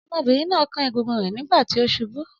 Ọmọbìnrin náà kán egungun rẹ̀ nígbà tí ó ṣubú.